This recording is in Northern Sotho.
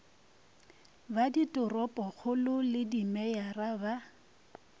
ba ditoropokgolo le dimeyara ba